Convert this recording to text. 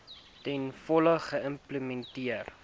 ten volle geïmplementeer